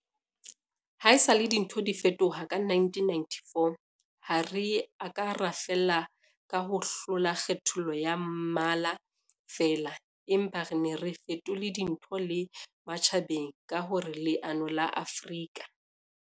Haesale dintho di fetoha ka 1994, ha re a ka ra fella ka ho hlola kgethollo ya mmala feela, empa re ne re fetole dintho le matjhabeng ka hore leano la Afrika